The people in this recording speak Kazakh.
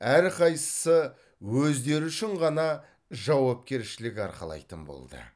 әрқайсысы өздері үшін ғана жауапкершілік арқалайтын болды